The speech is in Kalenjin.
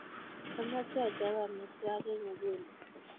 Amache achop amitwogik nguni